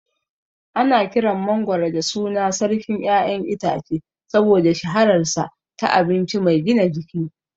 Ana kiran mangwaro da sunan "Sarkin ƴaƴan itace" saboda shahararsa ta abinci mai gina jiki.